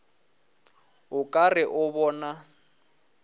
o ka re o bona